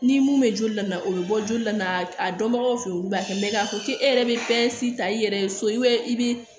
Ni mun bɛ joli la o bɛ bɔ joli la a dɔnbagaw fɛ olu b'a kɛ mɛ k'a fɔ k'e yɛrɛ bɛ pɛrɛn ta i yɛrɛ ye so i bɛ